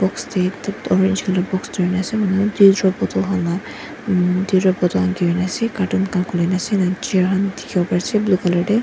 Box dae orange colour box dhurina ase manu dew drop bottle khan la umm dew drop bottle khan gerina ase carton khan khulina ase ena chair khan dekhevo pare ase blue colour dae.